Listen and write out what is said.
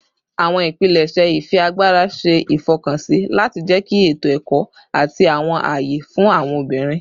Awọn ipilẹṣẹ ifiagbara ṣe ifọkansi lati jẹki eto-ẹkọ ati awọn aye fun awọn obinrin